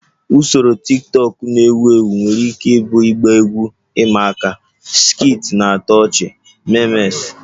Usoro tiktokụ na-ewu ewu nwere ike ịbụ ịgba egwu ịma aka, skits na-atọ ọchị, memes